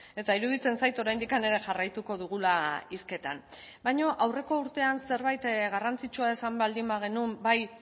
eta iruditzen zait oraindik ere jarraituko dugula hizketan baina aurreko urtean zerbait garrantzitsua esan baldin bagenuen bai